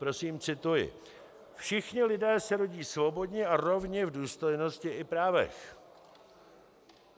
Prosím, cituji: "Všichni lidé se rodí svobodni a rovni v důstojnosti i právech.